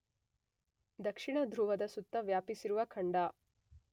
ದಕ್ಷಿಣ ಧ್ರುವದ ಸುತ್ತ ವ್ಯಾಪಿಸಿರುವ ಖಂಡ